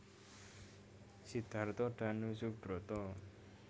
Sidarto Danusubroto